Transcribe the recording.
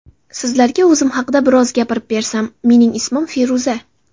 Sizlarga o‘zim haqida biroz gapirib bersam: Mening ismim Feruza.